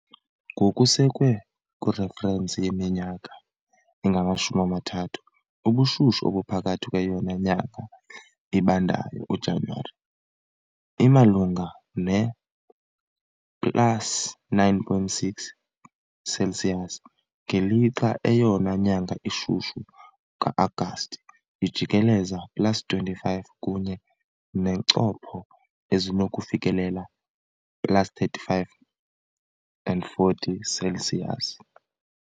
Ngokusekwe kwireferensi yeminyaka engamashumi amathathu, ubushushu obuphakathi kweyona nyanga ibandayo, uJanuwari, imalunga ne-plus 9.6 Celsius, ngelixa eyona nyanga ishushu, ka-Agasti, ijikeleze plus 25 kunye neencopho ezinokufikelela plus 35 and 40 Celsius.